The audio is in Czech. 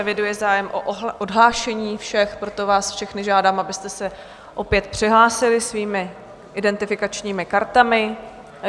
Eviduji zájem o odhlášení všech, proto vás všechny žádám, abyste se opět přihlásili svými identifikačními kartami.